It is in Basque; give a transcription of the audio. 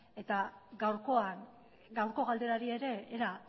gaurko galderari ere era